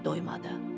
Yenə doymadı.